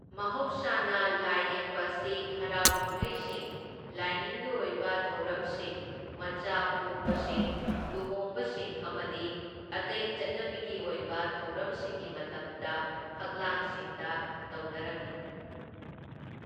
ꯃꯍꯧꯁꯥꯅ ꯂꯥꯏꯌꯦꯛꯄ ꯑꯁꯤ ꯍꯔꯥꯎ ꯀꯨꯝꯍꯩꯁꯤꯡ, ꯂꯥꯏꯅꯤꯡꯒꯤ ꯑꯣꯏꯕ ꯊꯧꯔꯝꯁꯤꯡ, ꯃꯆꯥ ꯄꯣꯛꯄꯁꯤꯡ, ꯂꯨꯍꯣꯡꯕꯁꯤꯡ, ꯑꯃꯗꯤ ꯑꯇꯩ ꯆꯠꯅꯕꯤꯒꯤ ꯑꯣꯏꯕ ꯊꯧꯔꯝꯁꯤꯡꯒꯤ ꯃꯇꯝꯗ ꯐꯛꯂꯥꯡꯁꯤꯡꯗ ꯇꯧꯅꯔꯝꯃꯤ꯫